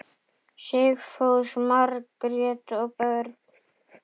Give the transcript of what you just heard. Sigfús, Margrét og börn.